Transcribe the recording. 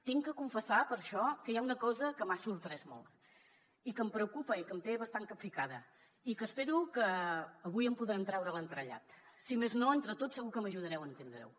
haig de confessar per això que hi ha una cosa que m’ha sorprès molt i que em preocupa i que em té bastant capficada i que espero que avui en podrem treure l’entrellat si més no entre tots segur que m’ajudareu a entendre ho